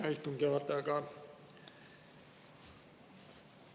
Hea istungi juhataja!